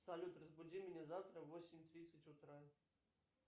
салют разбуди меня завтра в восемь тридцать утра